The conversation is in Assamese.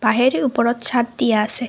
আহেৰো ওপৰত ছাদ দিয়া আছে।